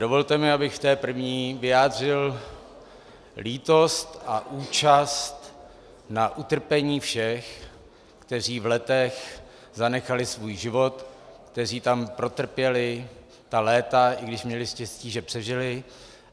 Dovolte mi, abych v té první vyjádřil lítost a účast na utrpení všech, kteří v Letech zanechali svůj život, kteří tam protrpěli ta léta, i když měli štěstí, že přežili.